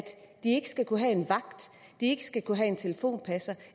de ikke skal kunne have en vagt ikke skal kunne have en telefonpasser